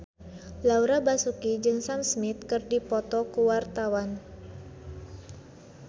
Laura Basuki jeung Sam Smith keur dipoto ku wartawan